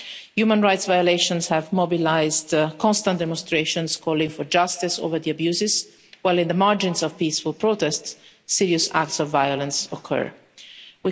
Human rights violations have mobilised constant demonstrations calling for justice over the abuses, while in the margins of peaceful protests, serious acts of violence occur.